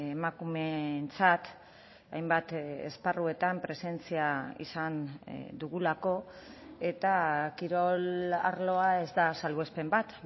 emakumeentzat hainbat esparruetan presentzia izan dugulako eta kirol arloa ez da salbuespen bat